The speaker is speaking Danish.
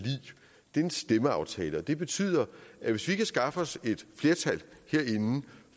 det er en stemmeaftale og det betyder at hvis vi kan skaffe os et flertal herinde